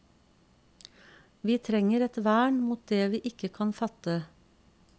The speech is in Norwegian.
Vi trenger et vern mot det vi ikke kan fatte.